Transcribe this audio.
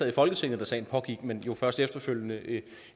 i folketinget da sagen pågik men først efterfølgende